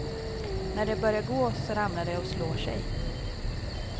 När de börjar gå så ramlar de och slår sig.